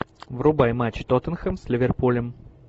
врубай матч тоттенхэм с ливерпулем